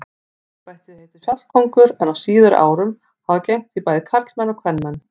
Embættið heitir fjallkóngur en á síðari árum hafa gegnt því bæði karlmenn og kvenmenn.